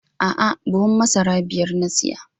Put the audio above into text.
A'a, buhun masara biyar na siya.